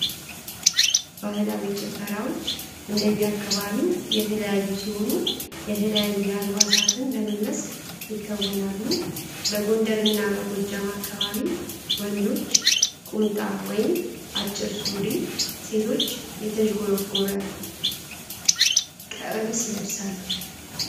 ባህላዊ ጭፈራዎች እንደየአካባቢው የተለያዩ ሲሆኑ የተለያየ አልባሳትን በመልበስ ይከወናሉ። በጎንደርና እና በጎጃም አካባቢ ወንዶች ቁምጣ (አጭር ሱሪ) ሴቶች የተዝጎረጎረ ቀሚስ ይለብሳሉ።